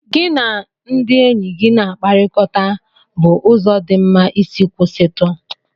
Gị na ndị enyi gị na-akpakọrịta bụ ụzọ dị mma isi kwụsịtụ.